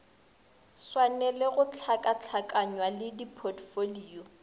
swanele go hlakahlakanywa le dipotfolio